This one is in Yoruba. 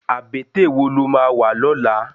Abètè wó ló má wá lòlá?